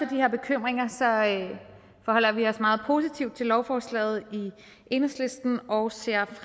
her bekymringer forholder vi os meget positivt til lovforslaget i enhedslisten og ser